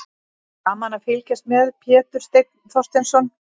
Gaman að fylgjast með: Pétur Steinn Þorsteinsson.